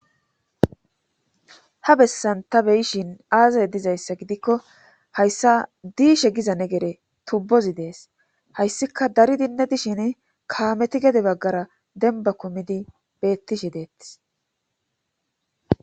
ha bessan ta beyishin aazay dizayssa gidikko hayssa diishe giza negere tubbozi dees hayssika dari dinne dishin kaameti gede baggara denba komidi beettishi deettis